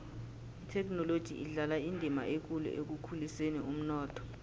ithekhinoloji idlala indima ekulu ekukhuliseni umnotho